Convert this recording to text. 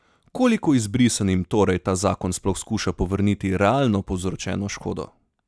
Koliko izbrisanim torej ta zakon sploh skuša povrniti realno povzročeno škodo?